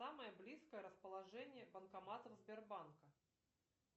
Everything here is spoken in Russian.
самое близкое расположение банкоматов сбербанка